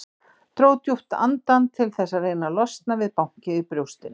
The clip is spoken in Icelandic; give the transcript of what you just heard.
Dró djúpt andann til þess að reyna að losna við bankið í brjóstinu.